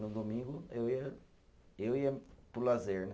No domingo, eu ia, eu ia para o lazer, né?